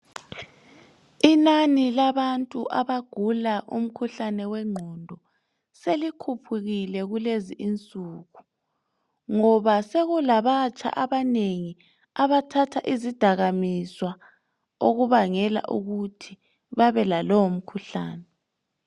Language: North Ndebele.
Ingani labantu abagula umkhuhlane wengqondo selikhuphukile kulezi insuku ngoba sokulabatsha abanengi abathatha izidakamizwa okubangela ukuthi babe lalowo mkhuhlane.